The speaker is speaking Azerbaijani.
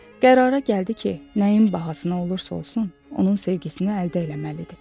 Qərara gəldi ki, nəyin bahasına olursa olsun, onun sevgisini əldə eləməlidir.